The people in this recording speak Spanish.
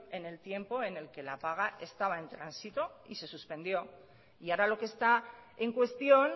en el tiempo en el que la paga estaba en tránsito y se suspendió y ahora lo que está en cuestión